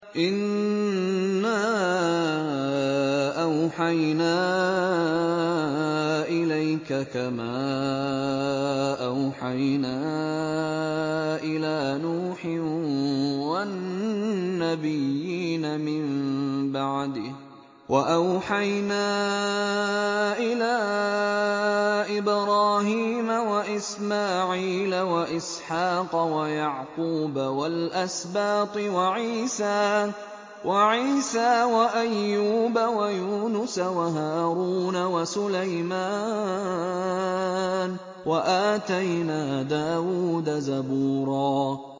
۞ إِنَّا أَوْحَيْنَا إِلَيْكَ كَمَا أَوْحَيْنَا إِلَىٰ نُوحٍ وَالنَّبِيِّينَ مِن بَعْدِهِ ۚ وَأَوْحَيْنَا إِلَىٰ إِبْرَاهِيمَ وَإِسْمَاعِيلَ وَإِسْحَاقَ وَيَعْقُوبَ وَالْأَسْبَاطِ وَعِيسَىٰ وَأَيُّوبَ وَيُونُسَ وَهَارُونَ وَسُلَيْمَانَ ۚ وَآتَيْنَا دَاوُودَ زَبُورًا